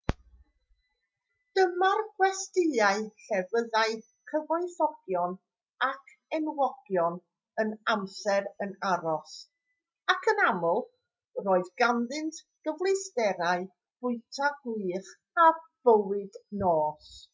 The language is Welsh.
dyma'r gwestyau lle byddai cyfoethogion ac enwogion yr amser yn aros ac yn aml roedd ganddynt gyfleusterau bwyta gwych a bywyd nos